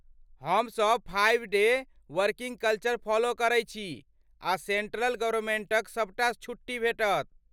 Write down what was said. हम सब five day working culture follow करै छी आ सेण्ट्रल गवर्नमेण्टक सबटा छुट्टी भेटत।